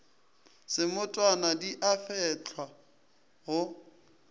semotwana di a fehlwa go